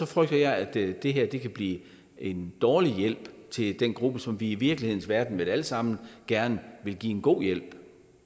frygter jeg at det det kan blive en dårlig hjælp til den gruppe som vi i virkelighedens verden vel alle sammen gerne vil give en god hjælp